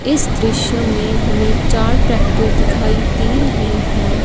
इस दृश्य हमें चार ट्रैक्टर दिखाई दे रहें हैं।